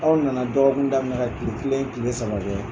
Aw na na dɔgɔkun daminɛ ka kile kelen, kile saba kɛ.